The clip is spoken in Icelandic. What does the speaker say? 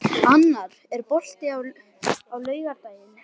Annar, er bolti á laugardaginn?